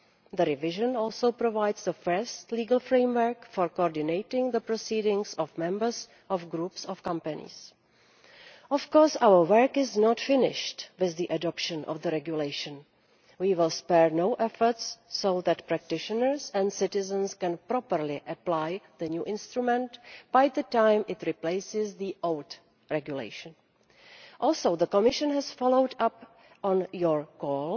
The revision also provides the first legal framework for coordinating the proceedings of members of groups of companies. Of course, our work is not finished with the adoption of the regulation. We will spare no efforts so that practitioners and citizens can properly apply the new instrument by the time it replaces the old regulation. The Commission has also followed up on your goal,